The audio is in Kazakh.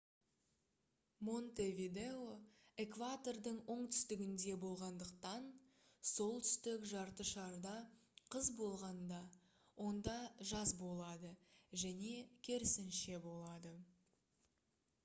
монтевидео экватордың оңтүстігінде болғандықтан солтүстік жарты шарда қыс болғанда онда жаз болады және керісінше болады